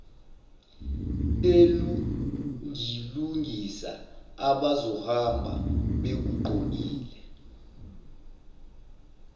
elungilungisa abazohamba bekugqokile